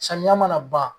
Samiya mana ban